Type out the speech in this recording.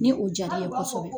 Ni o diyara i ye kosɔbɛ.